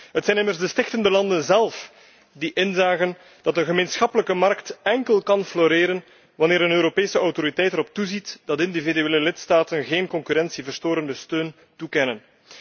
Het zijn immers de stichtende landen zelf die inzagen dat de gemeenschappelijke markt alleen maar kan floreren wanneer een Europese autoriteit erop toeziet dat individuele lidstaten geen concurrentieverstorende steun toekennen.